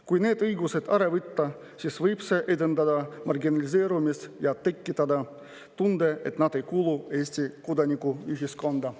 Kui need õigused ära võtta, siis võib see edendada marginaliseerumist ja tekitada tunde, et nad ei kuulu Eesti kodanikuühiskonda.